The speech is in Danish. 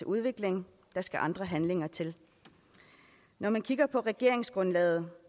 udvikling der skal andre handlinger til når man kigger på regeringsgrundlaget